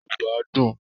Èdè Yorùbá dùn